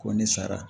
Ko ne sara